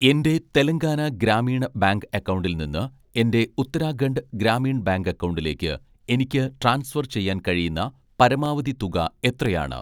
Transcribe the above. എൻ്റെ തെലങ്കാന ഗ്രാമീണ ബാങ്ക് അക്കൗണ്ടിൽ നിന്ന് എൻ്റെ ഉത്തരാഖണ്ഡ് ഗ്രാമീൺ ബാങ്ക് അക്കൗണ്ടിലേക്ക് എനിക്ക് ട്രാൻസ്ഫർ ചെയ്യാൻ കഴിയുന്ന പരമാവധി തുക എത്രയാണ്?